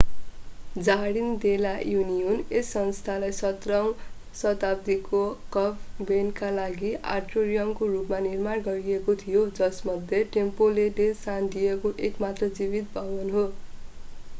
jardin de la Union यस स्थानलाई 17 औँ शताब्दीको कन्भेन्टका लागि आट्रियमको रूपमा निर्माण गरिएको थियो जसमध्ये टेम्प्लो डे सान डिएगो एकमात्र जीवित भवन हो